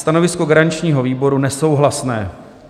Stanovisko garančního výboru: nesouhlasné.